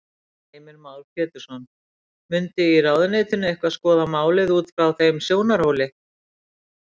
Heimir Már Pétursson: Mundu í ráðuneytinu eitthvað skoða málin út frá þeim sjónarhóli?